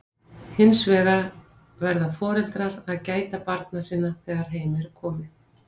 Hins vegar verða foreldrar að gæta barna sinna þegar heim er komið.